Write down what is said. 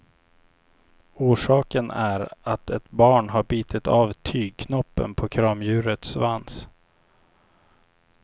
Orsaken är att ett barn har bitit av tygknoppen på kramdjurets svans.